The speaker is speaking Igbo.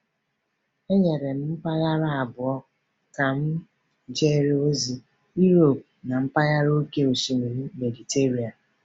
E nyere m mpaghara abụọ a ka m jere ozi: Europe na mpaghara Oké Osimiri Mediterenian.